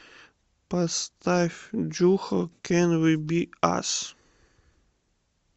поставь джухо кэн ви би ас